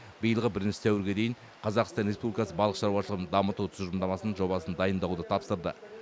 биылғы бірінші сәуірге дейін қазақстан республикасы балық шаруашылығын дамыту тұжырымдамасының жобасын дайындауды тапсырды